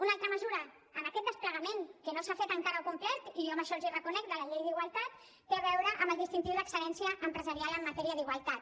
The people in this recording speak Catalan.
una altra mesura en aquest desplegament que no s’ha fet encara al complet i jo això els ho reconec de la llei d’igualtat té a veure amb el distintiu d’excel·lència empresarial en matèria d’igualtat